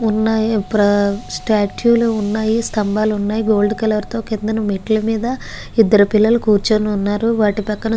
వున్నాయ్. స్టాట్యూ వున్నాయ్. స్థంబాలు వున్నాయ్. గోల్డ్ కలర్ తో మెట్ల మీద ఇదరు పిల్లలు కురుచొని వున్నారు. వాటి పక్కన --